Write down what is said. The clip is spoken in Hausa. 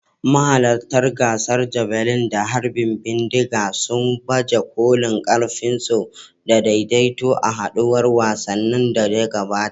Mahalarta gasar javelin da harbin bindiga sun baje kolin ƙarfinsu da daidaito a haɗuwar wasannin da ta gabata.